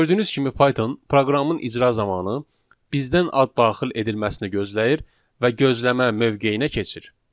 Gördüyünüz kimi Python proqramın icra zamanı bizdən ad daxil edilməsini gözləyir və gözləmə mövqeyinə keçir.